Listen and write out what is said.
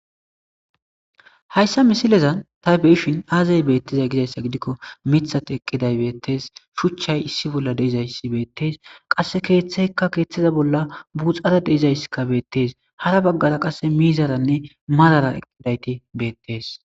Hayssa misilezan ta beyishin aazay beettizay gizayssa gidikko mithat eqqiday beettees shuchchay issi bolla deizayssi beettees qasse keeththeykka keeththiza bolla buuxara deizaysska beettees hara baggara qasse miizaranne marara eqqidayti beettees.